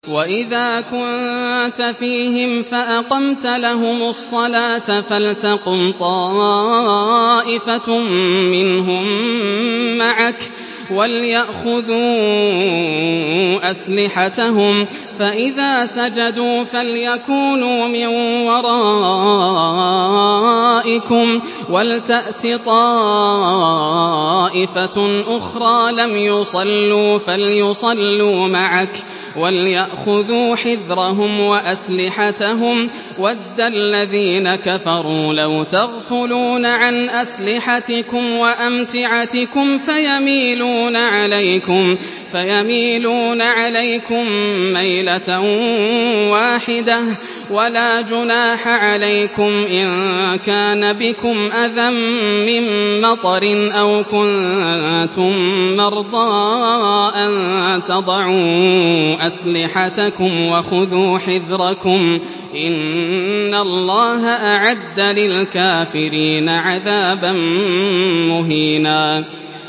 وَإِذَا كُنتَ فِيهِمْ فَأَقَمْتَ لَهُمُ الصَّلَاةَ فَلْتَقُمْ طَائِفَةٌ مِّنْهُم مَّعَكَ وَلْيَأْخُذُوا أَسْلِحَتَهُمْ فَإِذَا سَجَدُوا فَلْيَكُونُوا مِن وَرَائِكُمْ وَلْتَأْتِ طَائِفَةٌ أُخْرَىٰ لَمْ يُصَلُّوا فَلْيُصَلُّوا مَعَكَ وَلْيَأْخُذُوا حِذْرَهُمْ وَأَسْلِحَتَهُمْ ۗ وَدَّ الَّذِينَ كَفَرُوا لَوْ تَغْفُلُونَ عَنْ أَسْلِحَتِكُمْ وَأَمْتِعَتِكُمْ فَيَمِيلُونَ عَلَيْكُم مَّيْلَةً وَاحِدَةً ۚ وَلَا جُنَاحَ عَلَيْكُمْ إِن كَانَ بِكُمْ أَذًى مِّن مَّطَرٍ أَوْ كُنتُم مَّرْضَىٰ أَن تَضَعُوا أَسْلِحَتَكُمْ ۖ وَخُذُوا حِذْرَكُمْ ۗ إِنَّ اللَّهَ أَعَدَّ لِلْكَافِرِينَ عَذَابًا مُّهِينًا